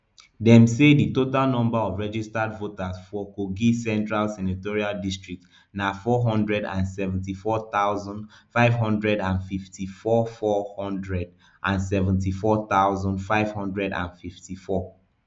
dem say di total number of registered voters for kogi central senatorial district na four hundred and seventy-four thousand, five hundred and fifty-four four hundred and seventy-four thousand, five hundred and fifty-four